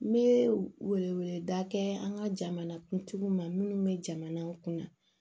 N bɛ wele wele da kɛ an ka jamana kuntigiw ma minnu bɛ jamana kunna